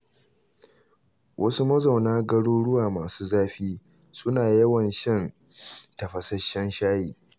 Wasu mazauna garuruwa masu zafi, suna yawan shan tafashasshen shayi.